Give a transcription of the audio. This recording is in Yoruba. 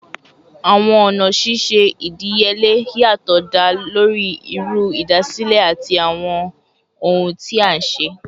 Awọn ọna ṣiṣe idiyele yatọ da lori iru idasile ati awọn ohun ti a nṣe